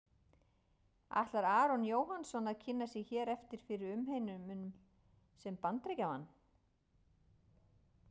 Ætlar Aron Jóhannsson að kynna sig hér eftir fyrir umheiminum sem Bandaríkjamann?